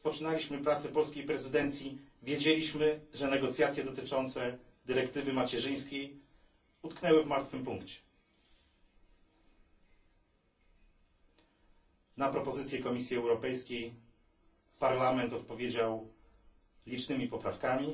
Kiedy rozpoczynaliśmy pracę polskiej prezydencji, wiedzieliśmy, że negocjacje dotyczące dyrektywy macierzyńskiej utknęły w martwym punkcie. Na propozycję Komisji Europejskiej Parlament odpowiedział licznymi poprawkami,